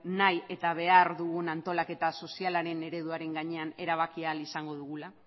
nahi eta behar dugun antolaketa sozialaren ereduaren gainean erabaki ahal izango dugula